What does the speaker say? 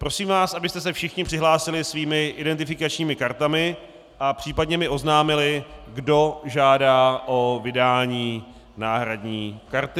Prosím vás, abyste se všichni přihlásili svými identifikačními kartami a případně mi oznámili, kdo žádá o vydání náhradní karty.